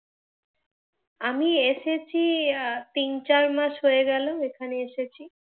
আমি এসেছি, তিন চার মাস হয়ে গেল এখানে এসেছি।